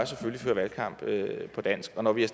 føre valgkamp på dansk og når vi har